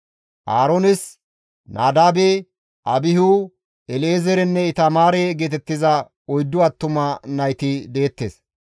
Aaroones Nadaabe, Abihu, El7ezeerenne Itamaare geetettiza oyddu attuma nayti deettes.